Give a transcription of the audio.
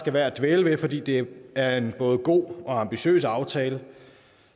er værd at dvæle ved fordi det er en både god og ambitiøs aftale